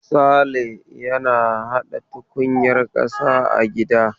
Sale yana hada tukunyar kasa a gida.